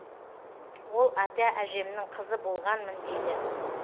ол ата әжемнің қызы болғанмын дейді